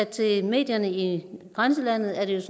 til medierne i grænselandet at det